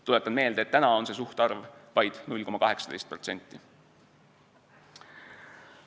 Tuletan meelde, et täna on see suhtarv vaid 0,18%.